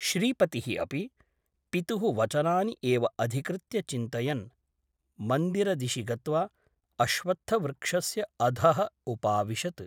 श्रीपतिः अपि पितुः वचनानि एव अधिकृत्य चिन्तयन् मन्दिरदिशि गत्वा अश्वत्थवृक्षस्य अधः उपाविशत् ।